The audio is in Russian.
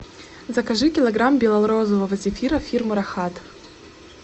закажи килограмм бело розового зефира фирмы рахат